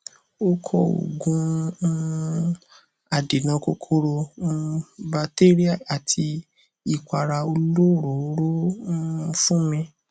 ó kọ òògùn um adènà kòkòrò um batéríà àti ìpara olóròóró um fún mi